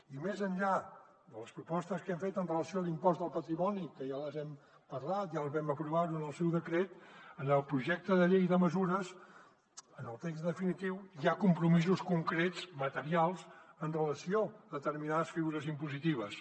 i més enllà de les propostes que hem fet amb relació a l’impost del patrimoni que ja les hem parlat ja les vam aprovar en el seu decret en el projecte de llei de mesures en el text definitiu hi ha compromisos concrets materials amb relació a determinades figures impositives